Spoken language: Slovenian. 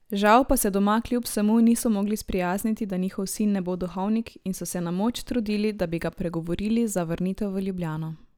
Žal pa se doma klub vsemu niso mogli sprijazniti, da njihov sin ne bo duhovnik in so se na moč trudili da bi ga pregovorili za vrnitev v Ljubljano.